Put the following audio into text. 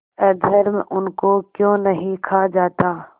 अधर्म उनको क्यों नहीं खा जाता